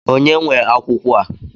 Ònye nwe akwụkwọ a?